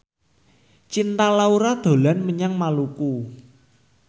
Cinta Laura dolan menyang Maluku